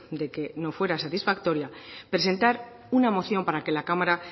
de que no fuera satisfactoria presentar una moción para que la cámara